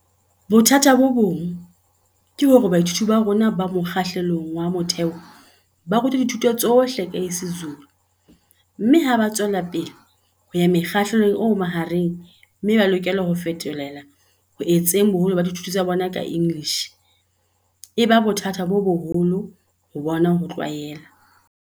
"Bothata bo bong ke hore baithuti ba rona ba mokga hlelong wa motheo ba ru twa dithuto tsohle ka isiZulu mme ha ba tswelapele ho ya mokgahlelong o mahareng mme ba lokela ho fetohela ho etseng boholo ba dithuto tsa bona ka English, e ba bothata bo boholo ho bona ho tlwaela."